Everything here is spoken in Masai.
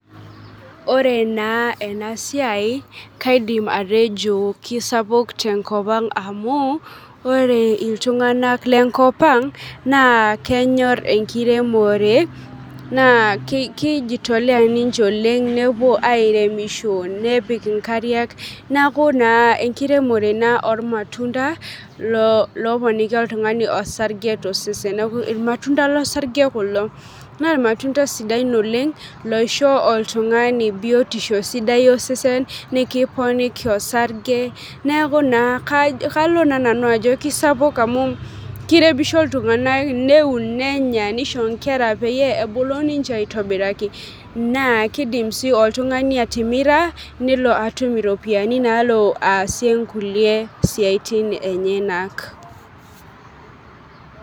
Ore naa ena siai kaidim atejo kisapuk tenkop ang amu ore iltung'anak lenkop ang naa kenyorr enkiremore naa ke keijitolea ninche oleng nepuo airemisho nepik inkariak niaku naa enkiremore naa ormatunda lo loponiki oltung'ani osarge tosesen neku irmatunda losarge kulo naa irmatunda sidain oleng loisho oltung'ani biotisho sidai osesen nikiponiki osarge neeku naa kalo naa nanu ajo kisapuk amu kiremisho iltung'anak neun nenya nisho inkera peyie ebulu ninche aitobiraki naa kidim sii oltung'ani atimira nelo atum iropiyiani naalo aasie inkulie siaitin enyenak.